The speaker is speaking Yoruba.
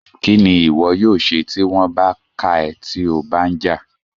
Kín ni ìwọ yóò ṣe tí wọ́n bá ká ẹ́ tí o bá ń jà?